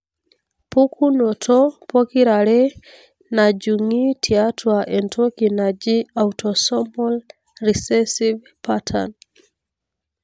pukunoto pokirare najungi tiatua entoki naaji autosomal recessive pattern.